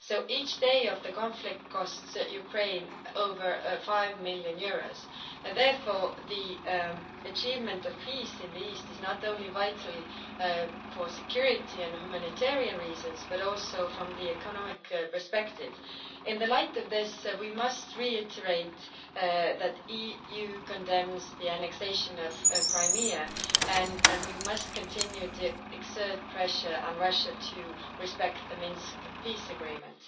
Each day of the conflict costs Ukraine over EUR 5 million, and therefore the achievement of peace in the east is not only vital for security and humanitarian reasons, but also from the economic perspective. In the light of this, we must reiterate that the EU condemns the annexation of Crimea and we must continue to exert pressure on Russia to respect the Minsk peace agreement.